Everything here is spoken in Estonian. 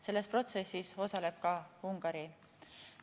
Selles protsessis osaleb ka Ungari.